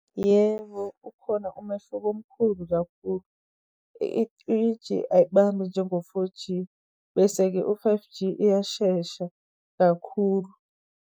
Yebo, ukhona umehluko omkhulu kakhulu. I-three G ayibambi njengo-four G, bese-ke u-five G iyashesha kakhulu.